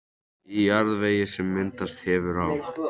Í jarðvegi, sem myndast hefur á